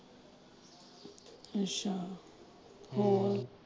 ਅੱਛਾ